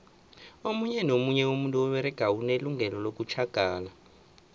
omunye nomunye umuntu oberegako unelungelo lokutjhagala